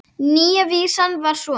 Nýja vísan var svona